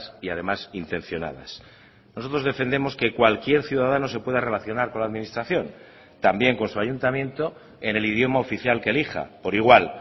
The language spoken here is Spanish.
y además intencionadas nosotros defendemos que cualquier ciudadano se pueda relacionar con la administración también con su ayuntamiento en el idioma oficial que elija por igual